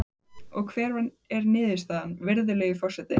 Og hver er niðurstaðan, virðulegi forseti?